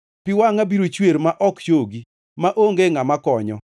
Pi wangʼa biro chwer ma ok chogi, maonge ngʼama konyo,